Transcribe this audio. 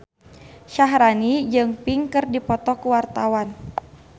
Syaharani jeung Pink keur dipoto ku wartawan